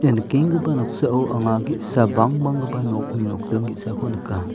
ia nikenggipa noksao anga ge·sa bangbanggipa nokni nokdring ge·sako nika.